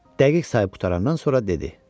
Dəqiq sayıb qurtarandan sonra dedi: